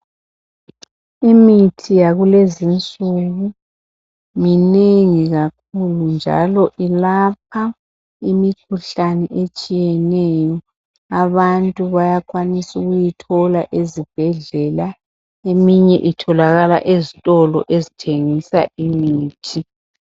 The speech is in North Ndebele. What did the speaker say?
imithi yakulezinsuku minengi kakhulu njalo ilapha imikhuhlane etshiyeneyo abantu bayakwanisa ukuyithola ezibhedlela eminye itholakala ezitolo ezithengisa imithi